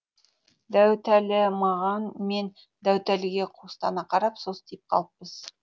дәуітәлі маған мен дәуітәліге қуыстана қарап состиып қалыппыз